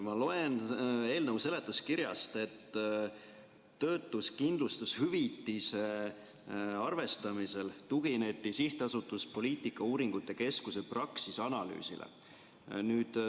Ma loen eelnõu seletuskirjast, et töötuskindlustushüvitise arvestamisel tugineti SA Poliitikauuringute Keskus Praxis analüüsile.